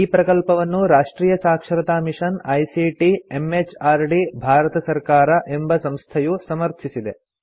ಈ ಪ್ರಕಲ್ಪವನ್ನು ರಾಷ್ಟ್ರಿಯ ಸಾಕ್ಷರತಾ ಮಿಷನ್ ಐಸಿಟಿ ಎಂಎಚಆರ್ಡಿ ಭಾರತ ಸರ್ಕಾರ ಎಂಬ ಸಂಸ್ಥೆಯು ಸಮರ್ಥಿಸಿದೆ